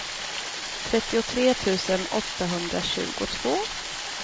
trettiotre tusen åttahundratjugotvå